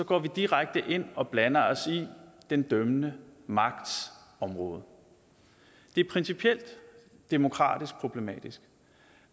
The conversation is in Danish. går vi direkte ind og blander os i den dømmende magts område det er principielt demokratisk problematisk